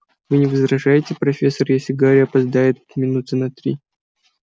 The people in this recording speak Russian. вы не возражаете профессор если гарри опоздает минуты на три